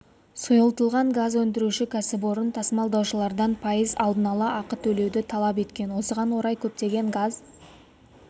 сұйылтылған газ өндіруші кәсіпорын тасымалдаушылардан пайыз алдын ала ақы төлеуді талап еткен осыған орай көптеген газ